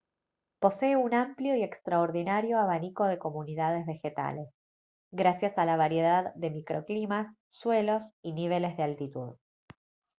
posee un amplio y extraordinario abanico de comunidades vegetales gracias a la variedad de microclimas suelos y niveles de altitud